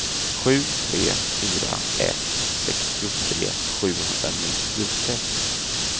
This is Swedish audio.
sju tre fyra ett sextiotre sjuhundranittiosex